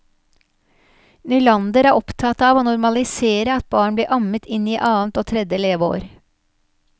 Nylander er opptatt av å normalisere at barn blir ammet inn i annet og tredje leveår.